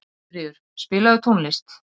Guðríður, spilaðu tónlist.